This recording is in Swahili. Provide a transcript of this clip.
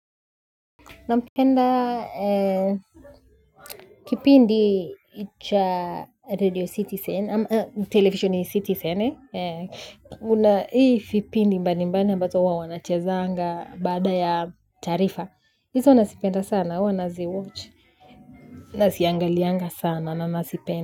Namupenda kipindi cha radio citizen, televisheni ya citizen kuna hiii vipindi mbali mbali ambazo huwa wanachezanga baada ya taarifa. Hizo nazipenda sana, huwa nazi watch. Naziangalianga sana, na nazipenda.